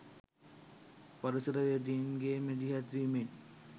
පරිසරවේදීන් ගේ මැදිහත්වීමෙන්